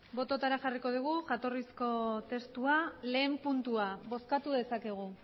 bototara jarriko dugu jatorrizko testua lehen puntua bozkatu dezakegu